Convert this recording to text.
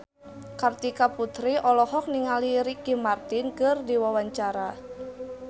Kartika Putri olohok ningali Ricky Martin keur diwawancara